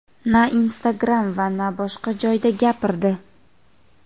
na Instagram va na boshqa joyda gapirdi.